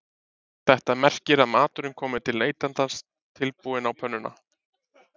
Þetta merkir að maturinn komi til neytandans tilbúinn á pönnuna